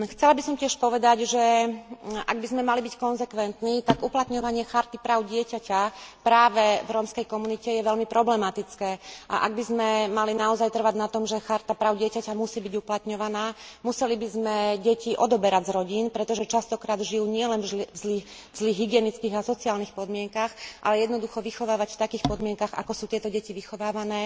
Chcela by som tiež povedať, že ak by sme mali byť konzekventní, tak uplatňovanie Charty práv dieťaťa práve v rómskej komunite je veľmi problematické, a ak by sme mali naozaj trvať na tom, že Charta práv dieťaťa musí byť uplatňovaná, museli by sme deti odoberať z rodín, pretože často krát žijú nielen v zlých hygienických a sociálnych podmienkach, ale jednoducho vychovávať v takých podmienkach, ako sú tieto deti vychovávané,